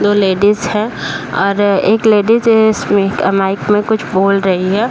दो लेडिज हैं और एक लेडिज इसमें अ माइक में कुछ बोल रही है।